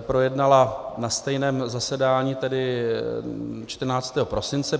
projednala na stejném zasedání, tedy 14. prosince.